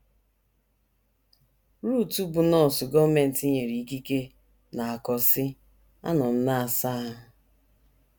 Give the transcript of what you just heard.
Ruth, bụ́ nọọsụ gọọmenti nyere ikike, na - akọ, sị: “ Anọ m na - asa ahụ.